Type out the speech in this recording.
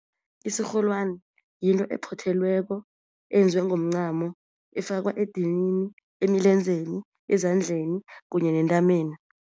Isirholwani yinto ephothelweko eyenziwe ngomncamo, efakwa edinini, emilenzeni, ezandleni kunye nentameni.